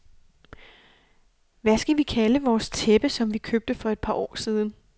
Hvad skal vi kalde vores tæppe, som vi købte for et par år siden.